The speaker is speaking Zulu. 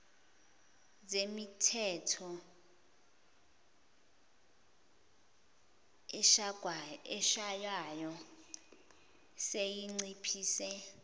zemithetho eshaywayo seyinciphise